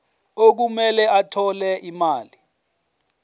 okumele athole imali